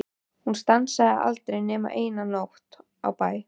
Hún stansaði aldrei nema eina nótt á bæ.